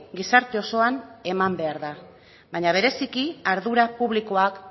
gizarte osoan eman behar da baina bereziki ardura publikoak